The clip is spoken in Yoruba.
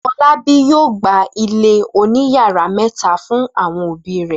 Fọlábí yóò gba ilé oníyàrá mẹ́ta fún àwọn òbí rẹ̀.